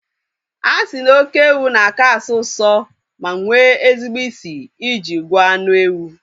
A sị na oké ewu na-aka asọ usọ ma nwee ezigbo isi I ji gwọọ anụ ewu